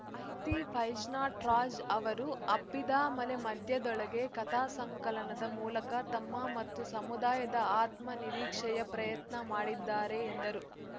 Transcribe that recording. ಹಾಹಿತಿ ಫೈಜ್ನಟ್ರಾಜ್‌ ಅವರು ಹಬ್ಬಿದಾ ಮಲೆ ಮಧ್ಯದೊಳಗೆ ಕಥಾ ಸಂಕಲನದ ಮೂಲಕ ತಮ್ಮ ಮತ್ತು ಸಮುದಾಯದ ಆತ್ಮ ನಿರೀಕ್ಷೆಯ ಪ್ರಯತ್ನ ಮಾಡಿದ್ದಾರೆ ಎಂದರು